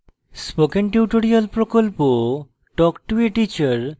spoken tutorial প্রকল্প talk to a teacher প্রকল্পের অংশবিশেষ